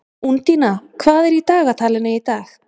Úndína, hvað er í dagatalinu í dag?